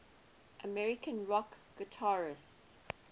american rock guitarists